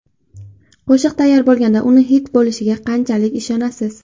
Qo‘shiq tayyor bo‘lganida uni xit bo‘lishiga qanchalik ishonasiz?